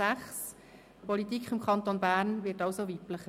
Die Politik im Kanton Bern wird also weiblicher.